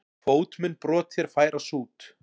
Fót mun brot þér færa sút.